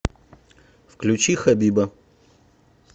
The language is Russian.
включи хабиба